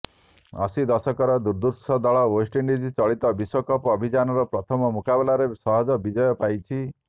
ଅଶି ଦଶକର ଦୁର୍ଦ୍ଧର୍ଷ ଦଳ ୱେଷ୍ଟଇଣ୍ଡିଜ୍ ଚଳିତ ବିଶ୍ବକପ୍ ଅଭିଯାନର ପ୍ରଥମ ମୁକାବିଲାରେ ସହଜ ବିଜୟ ପାଇଛି